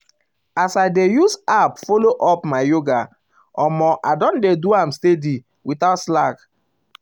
as i dey use app follow up my yoga omo i don dey do am steady um without slack. without slack.